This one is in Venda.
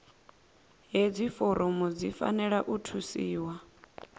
hedzi foramu dzi fanela u thusiwa